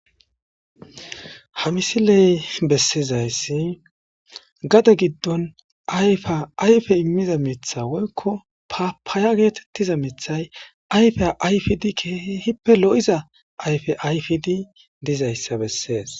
Ha misiley bessizayssi gade giddon ayfea ayfe immiza mitha woykko papaaya geetettiza mithay ayfe ayfidi keehe hippe lo7iza ayfe ayfidi dizayssa bessees